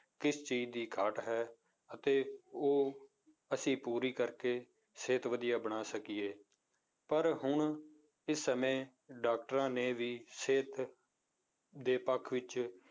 ਕਿਸ ਚੀਜ਼ ਦੀ ਘਾਟ ਹੈ, ਅਤੇ ਉਹ ਅਸੀਂ ਪੂਰੀ ਕਰਕੇੇ ਸਿਹਤ ਵਧੀਆ ਬਣਾ ਸਕੀਏ, ਪਰ ਹੁਣ ਇਸ ਸਮੇਂ doctors ਨੇ ਵੀ ਸਿਹਤ ਦੇ ਪੱਖ ਵਿੱਚ